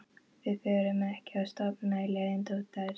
Við förum ekki að stofna til leiðinda út af þessu.